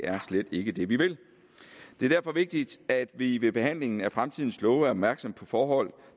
slet ikke er det vi vil det er derfor vigtigt at vi ved behandlingen af fremtidens love er opmærksomme på forhold